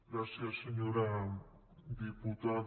gràcies senyora diputada